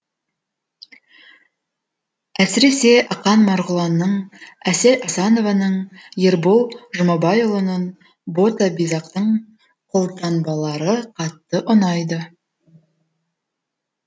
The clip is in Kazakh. әсіресе ақан марғұланның әсел асанованың ербол жұмабайұлының бота бизақтың қолтаңбалары қатты ұнайды